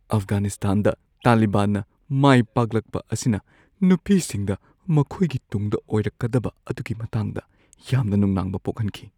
ꯑꯐꯒꯥꯅꯤꯁꯇꯥꯟꯗ ꯇꯥꯂꯤꯕꯥꯟꯅ ꯃꯥꯏꯄꯥꯛꯂꯛꯄ ꯑꯁꯤꯅ ꯅꯨꯄꯤꯁꯤꯡꯗ ꯃꯈꯣꯏꯒꯤ ꯇꯨꯡꯗ ꯑꯣꯏꯔꯛꯀꯗꯕ ꯑꯗꯨꯒꯤ ꯃꯇꯥꯡꯗ ꯌꯥꯝꯅ ꯅꯨꯡꯅꯥꯡꯕ ꯄꯣꯛꯍꯟꯈꯤ ꯫